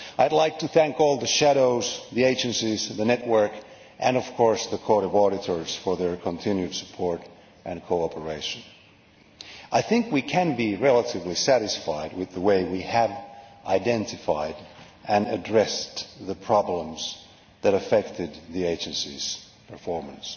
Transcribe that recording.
I would like to thank all the shadows, the agencies, the network and, of course, the Court of Auditors, for their continued support and cooperation. I think we can be relatively satisfied with the way we have identified and addressed the problems that affected the agencies' performance.